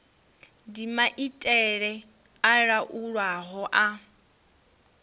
ndi maitele a laulwaho a